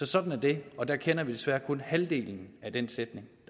sådan er det og der kender vi desværre kun halvdelen af den sætning